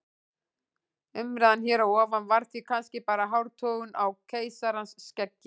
Umræðan hér að ofan var því kannski bara hártogun á keisarans skeggi.